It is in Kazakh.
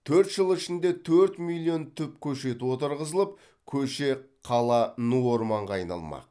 төрт жыл ішінде төрт миллион түп көшет отырғызылып көше қала ну орманға айналмақ